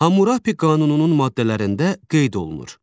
Hammurapi qanununun maddələrində qeyd olunur: